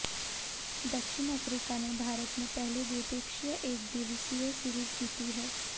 दक्षिण अफ्रीका ने भारत में पहली द्विपक्षीय एक दिवसीय सीरीज जीती है